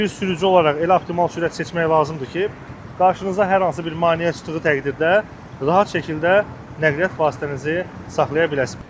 Biz sürücü olaraq elə optimal sürət seçmək lazımdır ki, qarşınıza hər hansı bir maneə çıxdığı təqdirdə rahat şəkildə nəqliyyat vasitənizi saxlaya biləsiniz.